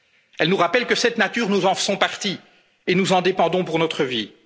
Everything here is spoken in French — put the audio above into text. de la nature. Il nous rappelle que cette nature, nous en faisons partie et nous en dépendons pour